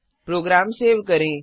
programme save करें